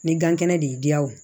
Ni gan kɛnɛ de y'i diya o